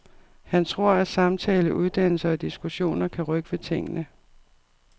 Han tror, at samtale, uddannelse og diskussioner kan rykke ved tingene.